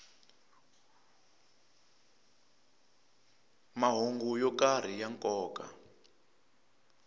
mahungu yo karhi ya nkoka